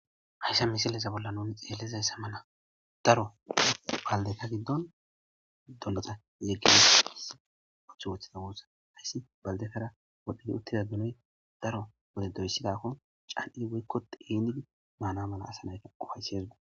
hayssa misileza bolla nuni xeellizayssa mana daro baldeta giddon dolloxa zeggine hii othu woththida woossa hayssi baldetara wodhdhedi uttida ginoy daro wode doyssidakko can7i woykko indidi maana mala asanayka ufayseesgu